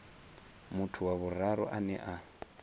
muthu wa vhuraru ane a